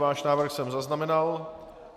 Váš návrh jsem zaznamenal.